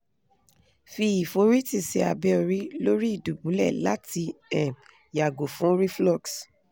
fi iforiti si abe ori lori idubule lati um yago fun reflux